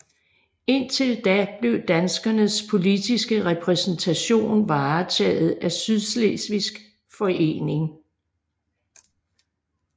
Indtil da blev danskernes politiske repræsentation varetaget af Sydslesvigsk Forening